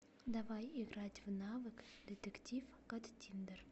давай играть в навык детектив каттиндер